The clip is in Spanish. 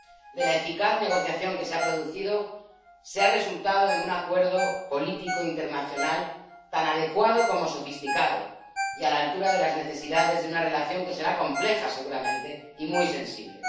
De la eficaz negociación que se ha producido, ha resultado un Acuerdo político internacional tan adecuado como sofisticado y a la altura de las necesidades de una relación que será compleja, seguramente, y muy sensible.